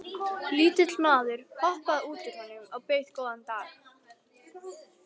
Lítill maður hoppaði út úr honum og bauð góðan dag.